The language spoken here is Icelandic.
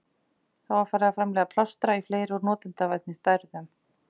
Þá var farið að framleiða plástra í fleiri og notendavænni stærðum.